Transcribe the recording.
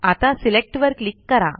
आता सिलेक्ट वर क्लिक करा